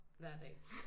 Hver dag